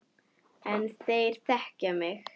En þeir þekkja mig.